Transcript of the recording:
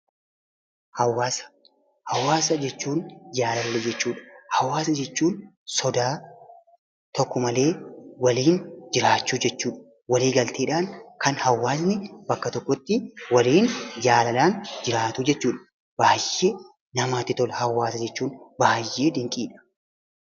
Hawaasa jechuun sodaa tokko malee waliin jiraachuu jechuudha. Walii galteedhaan kan hawaasni bakka tokkotti waliin jaalalaan jiraatu jechuudha. Baay'ee namatti tola hawaasa jechuun baay'ee dinqiidha.